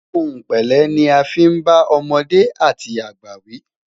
òhun pẹlẹ ní a fin bá ọmọdé àti àgbà wi